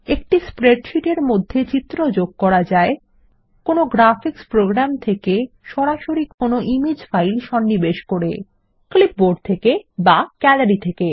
একটি স্প্রেডশীট এর মধ্যে চিত্র যোগ করা যায় একটি গ্রাফিক্স প্রোগ্রাম থেকে সরাসরি একটি ইমেজ ফাইল সন্নিবেশ করে একটি ক্লিপবোর্ড এর সাহায্যে বা গ্যালারি থেকে